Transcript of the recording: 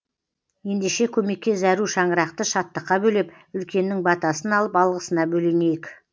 ендеше көмекке зәру шаңырақты шаттыққа бөлеп үлкеннің батасын алып алғысына бөленейік